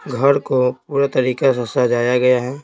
घर को पूरा तरीका से सजाया गया है।